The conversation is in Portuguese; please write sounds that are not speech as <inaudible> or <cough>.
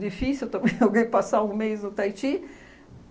Difícil também <laughs> alguém passar um mês no Taiti.